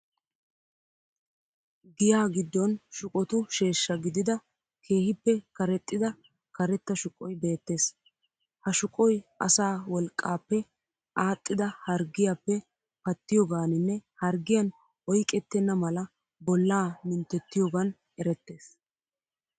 Giyaa giddon shuqotu sheeshsha gidida keehippe karexxida karetta shuqoy beettees. Ha shuqoy asaa woliqqaappe aaxxida harggiyaappe pattiyogaaninne harggiyan oyiqettenna mala bollaa minttettiyogaan erettees.